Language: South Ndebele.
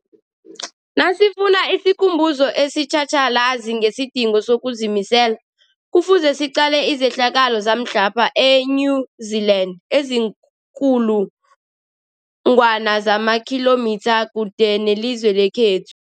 Nasifuna isikhumbuzo esitjhatjhalazi ngesidingo sokuzimisela, Kufuze siqale izehlakalo zamhlapha e-New Zealand eziinkulu ngwana zamakhilomitha kude nelizwe lekhethu.